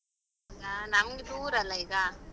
ಹಾ ನಮ್ಗೆ ದೂರ ಅಲ್ಲ ಈಗ ಬಂದ್ರೆ.